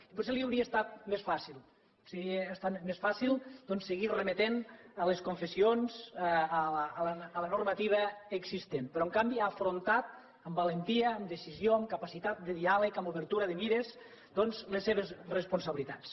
i potser li hauria estat més fàcil doncs seguir remetent les confessions a la normativa existent però en canvi ha afrontat amb valentia amb decisió amb capacitat de diàleg amb obertura de mires les seves responsabilitats